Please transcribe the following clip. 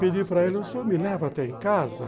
Pedi para ele, o senhor me leva até em casa?